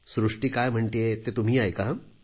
सृष्टी काय म्हणतेय ते तुम्हीही ऐका